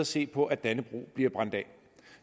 se på at dannebrog bliver brændt af